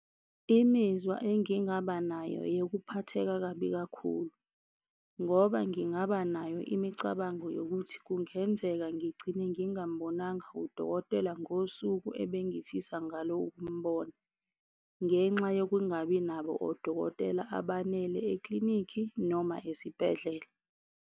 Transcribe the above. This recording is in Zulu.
Imizwa engingaba nayo eyokuphatheka kabi kakhulu ngoba ngingaba nayo imicabango yokuthi kungenzeka ngigcine ngingambonanga udokotela ngosuku ebengifisa ngalo ukumbona. Ngenxa yokungabi nabo odokotela abanele e-klinikhi noma esibhedlela.